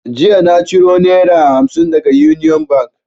Jiya na ciro naira hamsin daga union bank